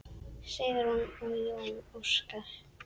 Sigrún og Jón Óskar.